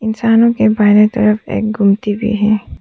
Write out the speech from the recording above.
इंसानों के बाएं तरफ एक गूमती भी है।